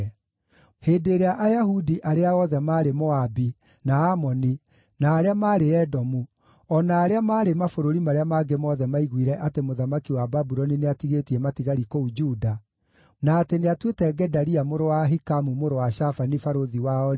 Hĩndĩ ĩrĩa Ayahudi arĩa othe maarĩ Moabi, na Amoni, na arĩa maarĩ Edomu, o na arĩa maarĩ mabũrũri marĩa mangĩ mothe maiguire atĩ mũthamaki wa Babuloni nĩatigĩtie matigari kũu Juda, na atĩ nĩatuĩte Gedalia mũrũ wa Ahikamu, mũrũ wa Shafani, barũthi wao-rĩ,